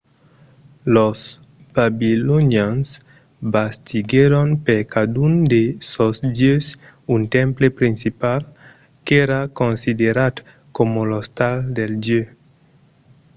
los babilonians bastiguèron per cadun de sos dieus un temple principal qu'èra considerat coma l'ostal del dieu